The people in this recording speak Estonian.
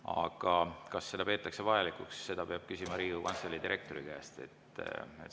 Aga kas seda peetakse vajalikuks, seda peab küsima Riigikogu Kantselei direktori käest.